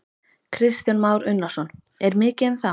Kristján Már Unnarsson: Er mikið um það?